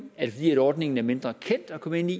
er fordi ordningen er mindre kendt at komme ind i